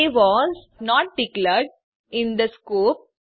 A was not declared in the scope